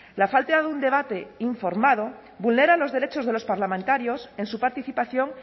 la falta de un debate informado vulnera los derechos de los parlamentarios en su participación